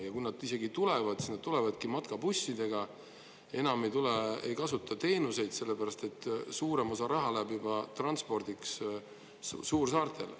Ja kui nad isegi tulevad, siis nad tulevadki matkabussidega, enam ei kasuta teenuseid, sellepärast et suurem osa raha läheb juba transpordiks suursaartele.